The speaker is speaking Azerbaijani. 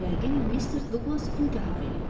Yəqin mister Duqlas intihar eləyib.